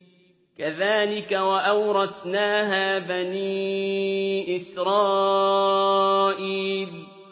كَذَٰلِكَ وَأَوْرَثْنَاهَا بَنِي إِسْرَائِيلَ